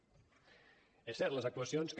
és cert les actuacions que